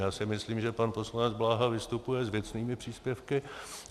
Já si myslím, že pan poslanec Bláha vystupuje s věcnými příspěvky.